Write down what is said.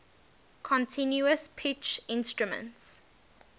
continuous pitch instruments